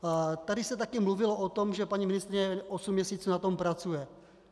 Tady se taky mluvilo o tom, že paní ministryně osm měsíců na tom pracuje.